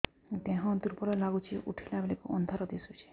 ଦେହ ଦୁର୍ବଳ ଲାଗୁଛି ଉଠିଲା ବେଳକୁ ଅନ୍ଧାର ଦିଶୁଚି